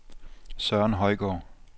Søren Højgaard